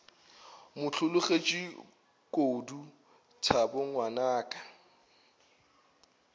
mo hlologetše kodu thabo ngwanaka